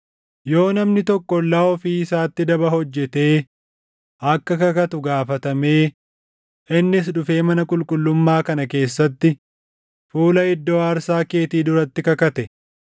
“Yoo namni tokko ollaa ofii isaatti daba hojjetee akka kakatu gaafatamee, innis dhufee mana qulqullummaa kana keessatti, fuula iddoo aarsaa keetii duratti kakate,